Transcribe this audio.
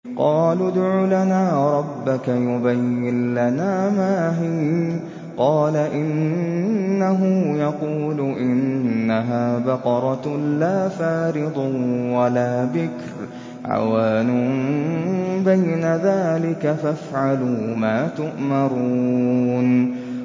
قَالُوا ادْعُ لَنَا رَبَّكَ يُبَيِّن لَّنَا مَا هِيَ ۚ قَالَ إِنَّهُ يَقُولُ إِنَّهَا بَقَرَةٌ لَّا فَارِضٌ وَلَا بِكْرٌ عَوَانٌ بَيْنَ ذَٰلِكَ ۖ فَافْعَلُوا مَا تُؤْمَرُونَ